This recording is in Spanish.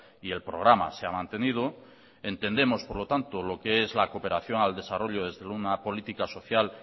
y el programa se ha mantenido entendemos por lo tanto lo que es la cooperación al desarrollo desde una política social